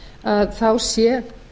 að þá sé